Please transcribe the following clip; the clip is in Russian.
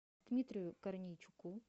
дмитрию корнейчуку